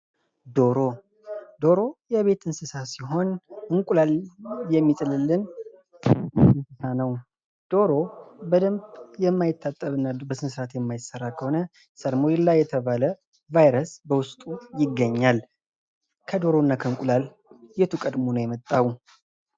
ዶሮ፦ ዶሮ የቤት እንሰሳ ሲሆን እንቁላል የሚጥልልን እንሰሳ ነው። ዶሮ በደንብ የማይታጠብ እና በስነ ስርዓት የማይሰራ ከሆነ ሰርሞላ የተባል በውስጡ ይገኛል። ከዶሮ እና ከእንቁላል የቱ ከድሞ ነው የመጣው?